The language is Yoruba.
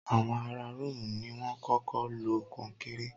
Àwọn ará róòmù ni wọ́n kọ́kọ́ lo kọnkéré?